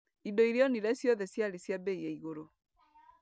Indo iria onire ciothe ciarĩ cia bei ya igũrũ.